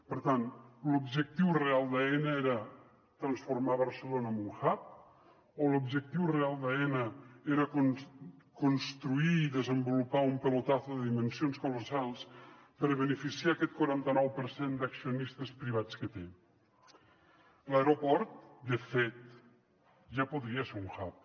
per tant l’objectiu real d’aena era transformar barcelona en un hub o l’objectiu real d’aena era construir i desenvolupar un pelotazo de dimensions colossals per beneficiar aquest quaranta nou per cent d’accionistes privats que té l’aeroport de fet ja podria ser un hub